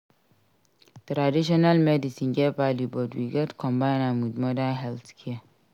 Traditional medicine get value but we gats combine am with modern healthcare.